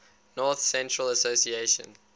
north central association